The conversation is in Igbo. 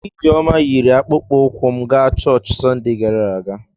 Ijeoma yiri akpụkpọ ụkwụ m gaa chọọchị Sọnde gara aga.